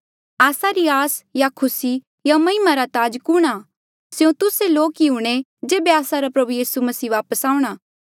आस्सा री आस या खुसी या महिमा रा ताज कुणहां आ स्यों तुस्से लोक ही हूंणे जेबे आस्सा रा प्रभु यीसू वापस आऊंणा